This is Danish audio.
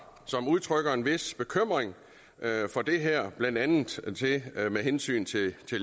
som udtrykker en vis bekymring for det her blandt andet med hensyn til